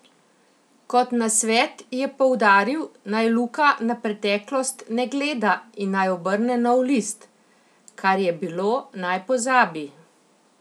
Kot nasvet je poudaril, naj Luka na preteklost ne gleda in naj obrne nov list: "Kar je bilo, naj pozabi.